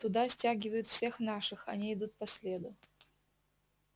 туда стягивают всех наших они идут по следу